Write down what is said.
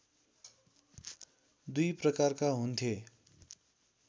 दुई प्रकारका हुन्थे